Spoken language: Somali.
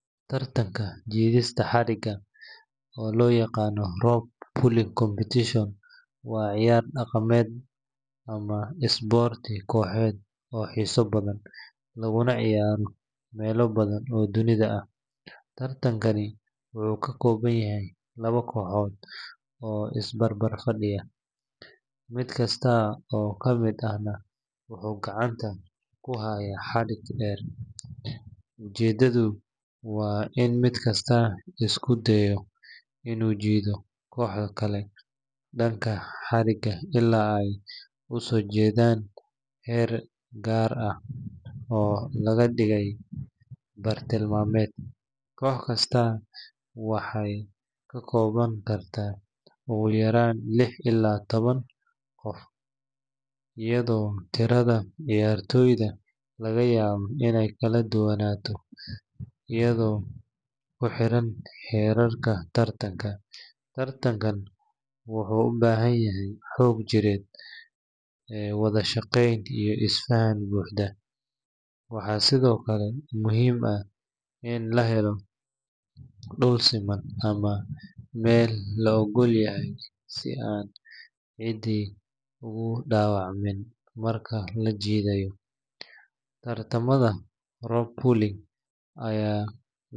tartanka jiidista xarigga, oo loo yaqaan rope pulling competition, waa ciyaar dhaqameed ama isboorti kooxeed oo xiiso badan, laguna ciyaaro meelo badan oo dunida ah. Tartankani wuxuu ka kooban yahay laba kooxood oo is barbar fadhiya, mid kasta oo ka mid ahna wuxuu gacanta ku hayaa xadhig dheer. Ujeeddadu waa in mid kasta isku dayo inuu jiido kooxda kale dhanka xadhigga ilaa ay u soo jiidan heer gaar ah oo laga dhigay bartilmaameed. Koox kastaa waxay ka koobnaan kartaa ugu yaraan lix ilaa toban qof, iyadoo tirada ciyaartoyda laga yaabo inay kala duwanaato iyadoo ku xiran xeerarka tartanka. Tartankan wuxuu u baahan yahay xoog jireed, wada shaqayn, iyo is-faham buuxa. Waxaa sidoo kale muhiim ah in la helo dhul siman ama meel la oggol yahay si aan cidi ugu dhaawacmin marka la jiidayo. Tartamada rope pulling ayaa lagu qaban karaa.